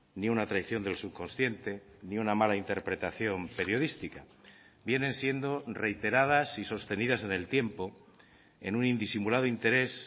ni una traición del subconsciente ni una mala interpretación periodística vienen siendo reiteradas y sostenidas en el tiempo en un indisimulado interés